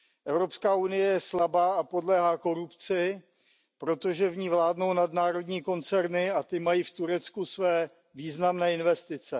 EU je slabá a podléhá korupci, protože v ní vládnou nadnárodní koncerny a ty mají v Turecku své významné investice.